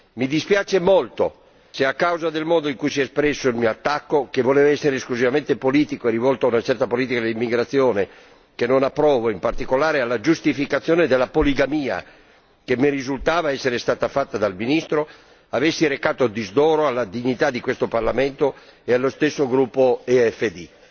Mi dispiace molto se, a causa del modo in cui è stato espresso, il mio attacco che voleva essere esclusivamente politico e rivolto ad una certa politica dell'immigrazione che disapprovo ed in particolare alla giustificazione della poligamia che mi risultava essere stata fatta dal ministro ha recato disdoro alla dignità di questo Parlamento e allo stesso gruppo EFD.